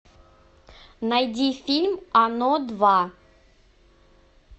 найди фильм оно два